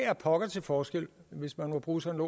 er pokker til forskel hvis man må bruge sådan